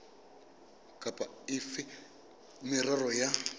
kapa efe ya merero ya